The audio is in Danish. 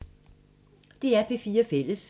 DR P4 Fælles